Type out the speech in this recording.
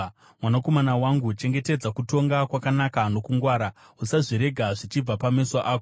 Mwanakomana wangu, chengetedza kutonga kwakanaka nokungwara, usazvirega zvichibva pameso ako;